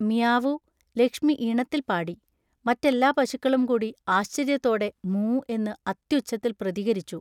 മിയാവൂ, ലക്ഷ്മി ഈണത്തിൽ പാടി. മറ്റെല്ലാ പശുക്കളുംകൂടി ആശ്ചര്യത്തോടെ മൂ എന്ന് അത്യുച്ചത്തിൽ പ്രതികരിച്ചു.